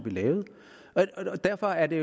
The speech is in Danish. lavede derfor er det